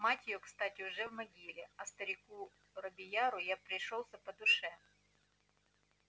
мать её кстати уже в могиле а старику робийяру я пришёлся по душе